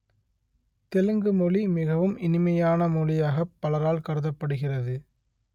தெலுங்கு மொழி மிகவும் இனிமையான மொழியாகப் பலரால் கருதப்படுகிறது